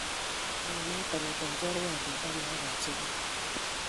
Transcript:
unoto kotoi chorwandit ak laak ab sugul